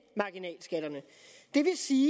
marginalskatterne det vil sige